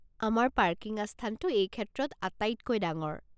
আমাৰ পাৰ্কিং আস্থানটো এইক্ষেত্ৰত আটাইতকৈ ডাঙৰ।